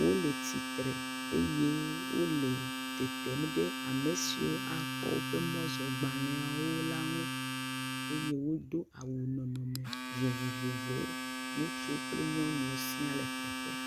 Wole tsitre eye wole tetem ɖe ame siwo axɔ woƒe mɔzɔgbaleawo la ŋu eye wodo awu vovovowo. Ŋutsu kple nyɔnuwo sia le teƒea.